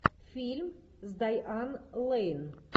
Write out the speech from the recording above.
фильм с дайан лейн